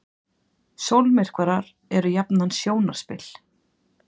sólmyrkvar eru jafnan sjónarspil